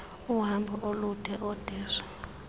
uhambo olude oodeshy